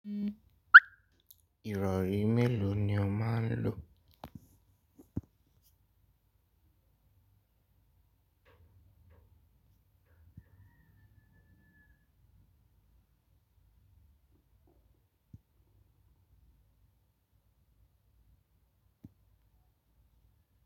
Ìrọrí mélòó ni o máa lò?